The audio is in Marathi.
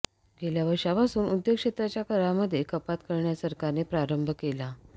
गेल्या वर्षापासून उद्योग क्षेत्राच्या करामध्ये कपात करण्यास सरकारने प्रारंभ केला